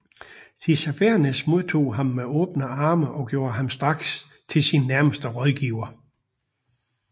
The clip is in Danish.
Tissafernes modtog ham med åbne arme og gjorde ham straks til sin nærmeste rådgiver